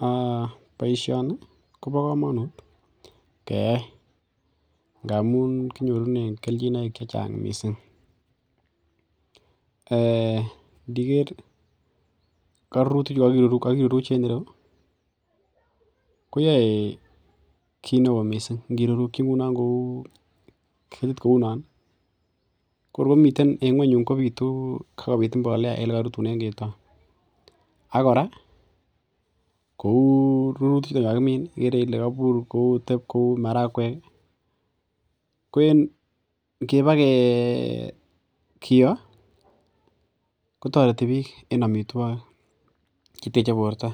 um Boisioni kobo komonut keyai ngamun kinyorunen kelchinoik chechang missing um ndiker korurutik chu kokiruruch en ireu ko yoe kit neoo missing ngirurukyi ngunon ketit kounon kokor komiten eng ng'weny yun kokor kobitubl mbolea en en elekorutunen keton ak kora kou rurutik chuton kakimin ih ikere ile kobur kotep kou marakwek ko ngebakiyoo kotoreti biik en amitwogik cheteche borto